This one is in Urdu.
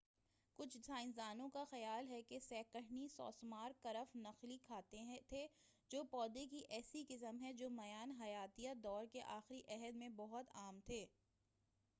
کچھ سائنسدانوں کا خیال ہے کہ سہ قرنی سوسمار کرف نخلی کھاتے تھے جو پودے کی ایسی قسم ہیں جو میان حیاتیہ دور کے آخری عہد میں بہت عام تھے